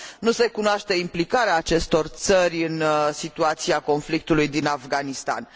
Nu se cunoaște implicarea acestor țări în situația conflictului din Afganistan.